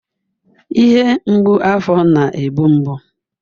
Ihe mgbu afọ na-egbu mgbu